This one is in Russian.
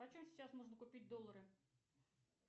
по чем сейчас можно купить доллары